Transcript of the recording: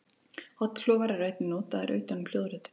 Hornklofar eru einnig notaðir utan um hljóðritun.